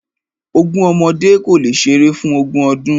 Ogún ọmọdé kò le ṣeré fún ogún ọdún.